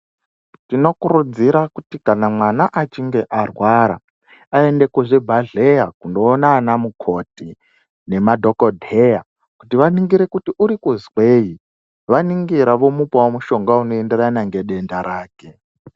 Tinokurudzira kuti kana mwana achinge arwara aende kuzvibhedhleya kundoona ana mukoti nemadhokodheya kuti vaningire kuti urikuzwei vaningira vomupawo mushonga unoenderana nedenda rake.